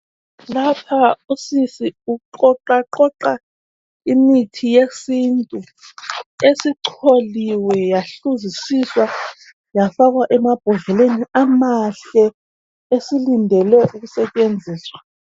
Lapha usisi uqoqaqoqa imithi yesintu esicholiwe yahluzisiswa yafakwa emambodleleni amahle esilindele ukusetshenziswa.